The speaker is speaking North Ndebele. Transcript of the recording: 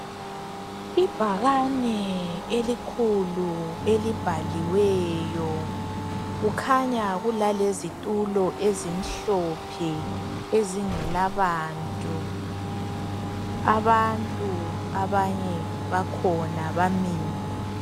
Ibhakane elikhulu elibhaliweyo, kukhanya kulalezitulo ezimhlophe ezingelabantu abantu abanye bakhona bamile.